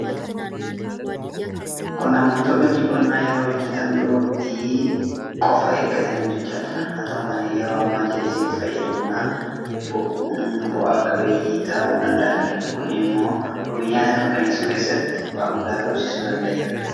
Qonnaan bultoonni hojii qonnaa yeroo hojjetan dur waktii qofa eeggatanii hojjechaa turan. Haata'u malee yeroo ammaa jallisiitti fayyadamuudhaan bu'a qabeeyyii ta'uu danda'aniiru. Kun immoo wabii nyaataa mirkaneessuu keessatti bu'aa guddaa argamsiisuu danda'eera.